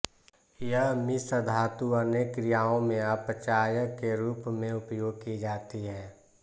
यह मिश्रधातु अनेक क्रियाओं में अपचायक के रूप में उपयोग की जाती है